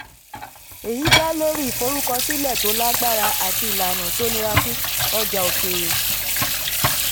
èyí dá lórí ìforúkọsílẹ̀ tó lágbára àti ìlànà tó nira fún ọjà òkèèrè.